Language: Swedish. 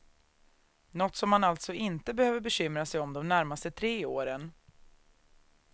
Något som han alltså inte behöver bekymra sig om de närmaste tre åren.